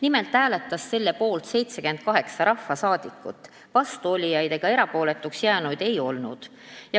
Nimelt hääletas selle poolt 78 rahvasaadikut, vastuolijaid ega erapooletuks jäänuid ei olnud.